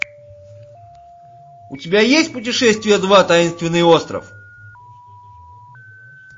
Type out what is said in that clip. у тебя есть путешествие два таинственный остров